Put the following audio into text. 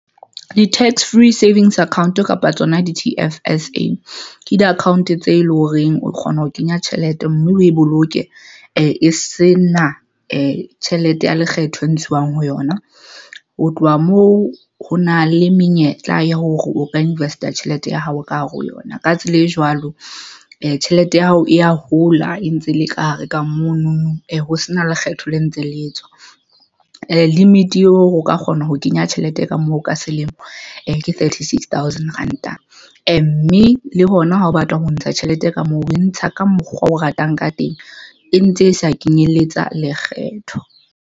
Di-tax free savings account kapa tsona T_F_S_A ke di-account tse leng horeng o kgona ho kenya tjhelete mme o e boloke, e se na e tjhelete ya lekgetho e ntshuwang ho yona. Ho tloha moo, ho na le menyetla ya hore o ka invest-a tjhelete ya hao ka hare ho yona. Ka tsela e jwalo tjhelete ya hao e ya hola e ntse e le ka hare ka mono ho sena lekgetho le ntse le etswa limit eo o ka kgona ho kenya tjhelete ka moo ka selemo ke thirty six thousand rand. Mme le hona ha o batla ho ntsha tjhelete ka moo o e ntsha ka mokgwa o ratang ka teng. E ntse e sa kenyelletsa lekgetho.